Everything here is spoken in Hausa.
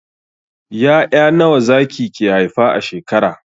Ya'ya nawa zaki ke haifa a shekara?